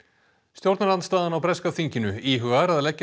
stjórnarandstaðan á breska þinginu íhugar að leggja